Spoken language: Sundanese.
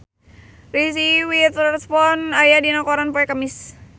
Reese Witherspoon aya dina koran poe Kemis